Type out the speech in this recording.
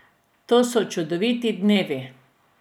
To so čudoviti dnevi.